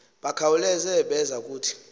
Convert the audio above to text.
bakhawuleza beza kuthi